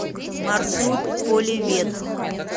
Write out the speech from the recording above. маршрут поливет